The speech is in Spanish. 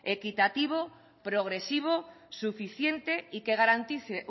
equitativo progresivo suficiente y que garantice